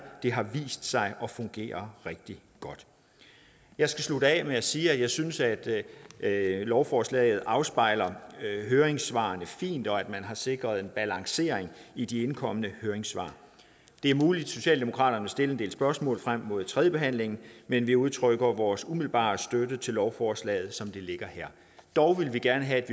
det har vist sig at fungere rigtig godt jeg skal slutte af med at sige at jeg synes at lovforslaget afspejler høringssvarene fint og at man har sikret en balancering i de indkommende høringssvar det er muligt at socialdemokraterne vil stille en del spørgsmål frem mod tredjebehandlingen men vi udtrykker vores umiddelbare støtte til lovforslaget som det ligger her dog vil vi gerne have at